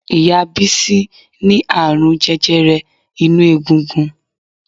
Ìyá Bísí ní àrùn jẹjẹrẹ inú egungun